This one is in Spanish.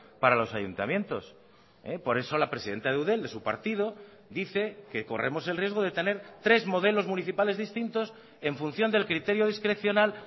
para los ayuntamientos por eso la presidenta de eudel de su partido dice que corremos el riesgo de tener tres modelos municipales distintos en función del criterio discrecional